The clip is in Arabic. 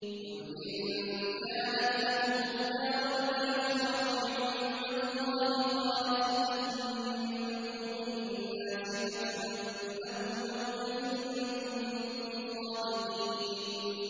قُلْ إِن كَانَتْ لَكُمُ الدَّارُ الْآخِرَةُ عِندَ اللَّهِ خَالِصَةً مِّن دُونِ النَّاسِ فَتَمَنَّوُا الْمَوْتَ إِن كُنتُمْ صَادِقِينَ